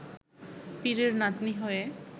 পীরের নাতনি হয়ে